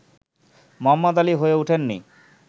Mohammad Ali হয়ে উঠেননি